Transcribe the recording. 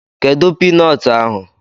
Kedụ piinọọtụ ahụ?